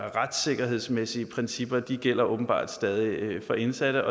retssikkerhedsmæssige principper gælder åbenbart stadig for indsatte